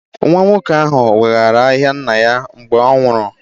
Nwa nwoke ahụ weghaara ahịa nna ya mgbe ọ nwụrụ